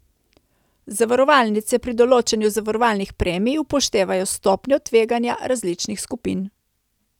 Zavarovalnice pri določanju zavarovalnih premij upoštevajo stopnjo tveganja različnih skupin.